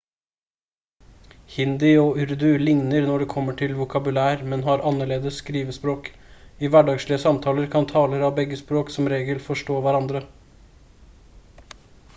hindi og urdu ligner når det kommer til vokabular men har annerledes skrivespråk i hverdagslige samtaler kan talere av begge språk som regel forstå hverandre